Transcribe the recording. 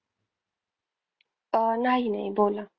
अह नाही नाही बोला.